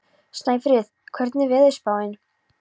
Snæfríð, hvernig er veðurspáin?